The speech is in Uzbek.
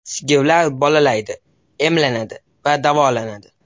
Sigirlar bolalaydi, emlanadi va davolanadi.